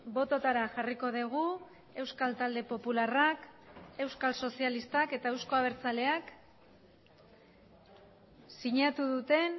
bototara jarriko dugu euskal talde popularrak euskal sozialistak eta euzko abertzaleak sinatu duten